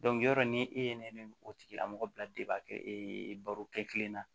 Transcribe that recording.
yɔrɔ ni e ye ne o tigilamɔgɔ bila baro kɛ kelen na